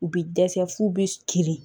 U bɛ dɛsɛ f'u bɛ kirin